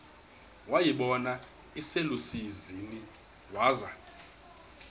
wayibona iselusizini waza